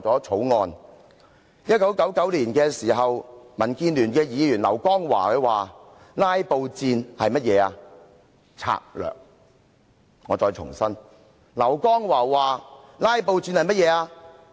在1999年，民建聯前議員劉江華說："'拉布'戰是甚麼？"我再重複，劉江華說："'拉布'戰是甚麼？